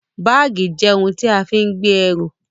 Báàgì jẹ́ ohun tí a fi ń gbé ẹrù